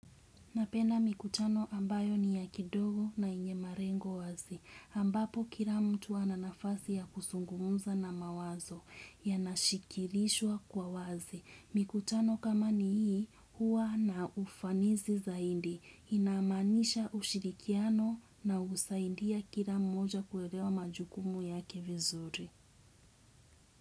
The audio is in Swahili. Napena mikutano ambayo ni ya kidogo na enye marengo wazi, ambapo kila mtu ananafasi ya kusungumuza na mawazo, ya nashikilishwa kwa wazi. Mikutano kama ni hii, huwa na ufanizi zaindi, inamaanisha ushirikiano na usaidia kila mmoja kuelewa majukumu yake vizuri.